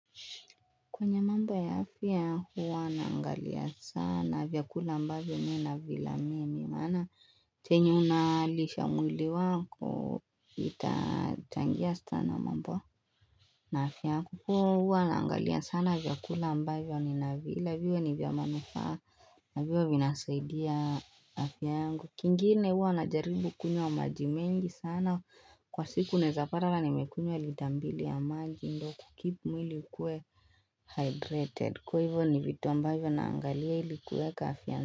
Kwenye mamba ya afya huwa naangalia sana vyakula ambavyo mi na vila mimi maana chenye unaa lisha mwili wako ita changia sana mambo na afya. Kukuhuwa naangalia sana vyakula ambavyo nina vila viwe ni vya manufaa na viwe vinasaidia aa afya yangu. Kingine huwa najaribu kunywa maji mengi sana kwa siku naezapata hata nimekunywa lita mbili ya maji ndo kukeep mwili ukuwe hydrated kwa hivyo ni vitu ambavyo naangalia ili kuweka afia.